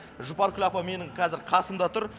жұпаркүл апа менің қазір қасыда тұр